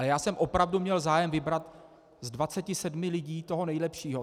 A já jsem opravdu měl zájem vybrat z 27 lidí toho nejlepšího.